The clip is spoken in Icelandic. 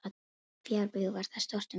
Fjárbú var þar stórt um tíma.